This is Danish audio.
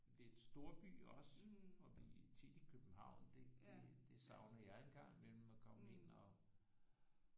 Lidt storby også og vi er tit i København det det savner jeg en gang imellem at komme ind og